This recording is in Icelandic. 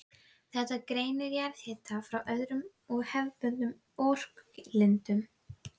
Þetta greinir jarðhita frá öðrum og hefðbundnari orkulindum.